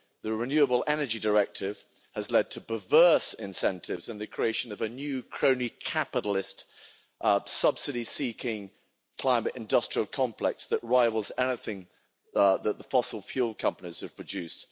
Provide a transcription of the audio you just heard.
The Renewable Energy Directive has led to perverse incentives and the creation of a new crony capitalist subsidy-seeking climate industrial complex that rivals anything that the fossil fuel companies have produced.